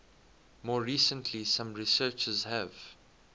more recently some researchers have